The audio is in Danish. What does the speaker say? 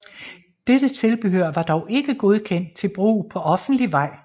Dette tilbehør var dog ikke godkendt til brug på offentlig vej